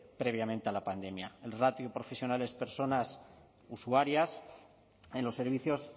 previamente a la pandemia el ratio profesionales personas usuarias en los servicios